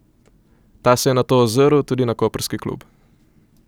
Ta se je nato ozrl tudi na koprski klub.